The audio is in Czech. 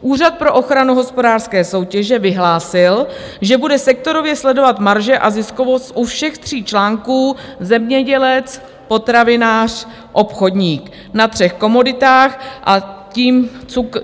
Úřad pro ochranu hospodářské soutěže vyhlásil, že bude sektorově sledovat marže a ziskovost u všech tří článků: zemědělec-potravinář-obchodník na třech komoditách, a